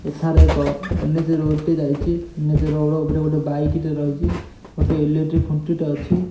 ଏଠାରେ ଏକ ଏନ୍_ଏଚ୍ ଟି ଯାଇଚି। ଏନ୍ ଏଚ୍ ଉପରେ ଗୋଟେ ବାଇକ୍ ଟେ ରହିଚି। ଗୋଟେ ଇଲେକ୍ଟ୍ରି ଖୁଣ୍ଟି ଟେ ଅଛି।